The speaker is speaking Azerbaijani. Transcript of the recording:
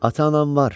Ata-anam var.